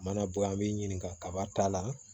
Mana bɔ yen an b'i ɲininka kaba ta la